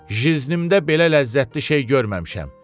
Jiznimdə belə ləzzətli şey görməmişəm.